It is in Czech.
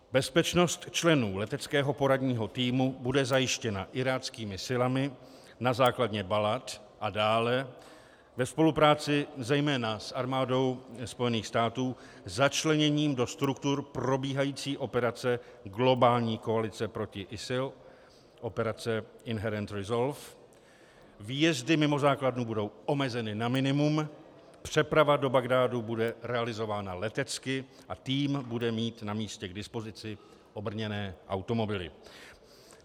Bezpečnost členů Leteckého poradního týmu bude zajištěna iráckými silami na základně Balad a dále ve spolupráci zejména s armádou Spojených států začleněním do struktur probíhající operace globální koalice proti ISIL, operace Inherent Resolve, výjezdy mimo základnu budou omezeny na minimum, přeprava do Bagdádu bude realizována letecky a tým bude mít na místě k dispozici obrněné automobily.